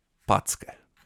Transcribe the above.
Packe.